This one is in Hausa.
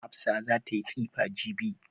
Hafsa za ta yi tsifa jibi.